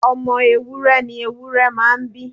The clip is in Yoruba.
Ọmọ ewúrẹ ni ewúrẹ́ máa ń bí.